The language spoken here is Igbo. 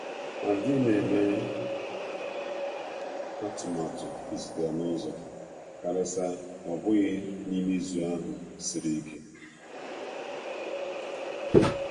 Adịghị m eme atụmatụ ịzute ya n'uzọ, karịsịa ọ bụghị n'i me izu ahụ siri ike. siri ike.